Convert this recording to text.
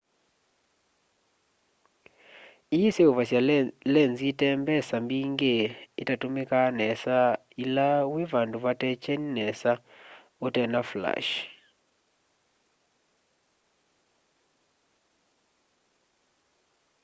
ii iseuvasya lenzi itembesa mbingi itatumika nesa ila wi vandu vate kyeni nesa na utena flashi